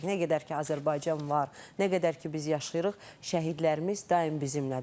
Nə qədər ki Azərbaycan var, nə qədər ki biz yaşayırıq, şəhidlərimiz daim bizimlədir.